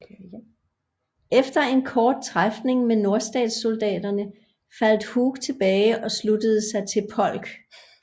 Efter en kort træfning med nordstatssoldaterne faldt Hood tilbage og sluttede sig til Polk